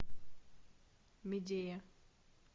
медея